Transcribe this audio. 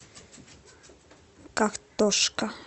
картошка